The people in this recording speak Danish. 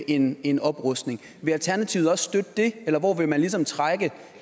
en en oprustning vil alternativet også støtte det eller hvor vil man ligesom trække